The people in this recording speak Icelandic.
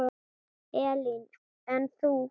Elín: En þú?